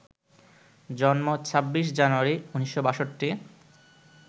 জন্ম ২৬ জানুয়ারি ১৯৬২